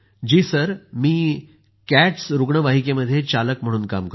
sir मी CATS रुग्णवाहिकामध्ये चालक म्हणून काम करतो